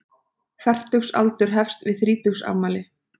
Fertugsaldur hefst við þrítugsafmæli.